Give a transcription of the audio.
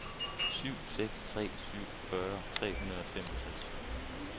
syv seks tre syv fyrre tre hundrede og femogtres